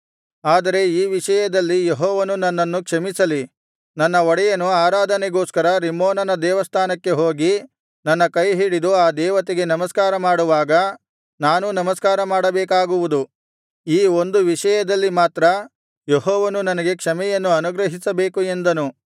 ಆದರೆ ಈ ವಿಷಯದಲ್ಲಿ ಯೆಹೋವನು ನನ್ನನ್ನು ಕ್ಷಮಿಸಲಿ ನನ್ನ ಒಡೆಯನು ಆರಾಧನೆಗೋಸ್ಕರ ರಿಮ್ಮೋನನ ದೇವಸ್ಥಾನಕ್ಕೆ ಹೋಗಿ ನನ್ನ ಕೈಹಿಡಿದು ಆ ದೇವತೆಗೆ ನಮಸ್ಕಾರ ಮಾಡುವಾಗ ನಾನೂ ನಮಸ್ಕಾರ ಮಾಡಬೇಕಾಗುವುದು ಈ ಒಂದು ವಿಷಯದಲ್ಲಿ ಮಾತ್ರ ಯೆಹೋವನು ನನಗೆ ಕ್ಷಮೆಯನ್ನು ಅನುಗ್ರಹಿಸಬೇಕು ಎಂದನು